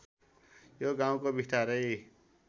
यो गाउँको बिस्तारै